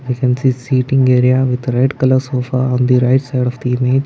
we can see seating area with red colour sofa on the right side of the image.